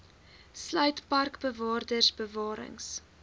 sluit parkbewaarders bewarings